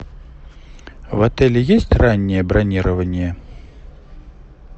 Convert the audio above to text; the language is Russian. в отеле есть раннее бронирование